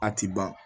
A ti ban